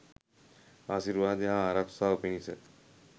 ආශිර්වාදය හා ආරක්ෂාව පිණිස